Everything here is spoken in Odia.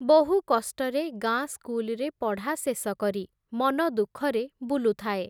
ବହୁକଷ୍ଟରେ ଗାଁ ସ୍କୁଲ୍‌ରେ ପଢ଼ା ଶେଷ କରି, ମନ ଦୁଃଖରେ ବୁଲୁଥାଏ ।